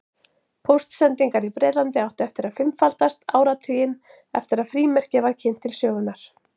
Póstsendingar í Bretlandi áttu eftir að fimmfaldast áratuginn eftir að frímerkið var kynnt til sögunnar.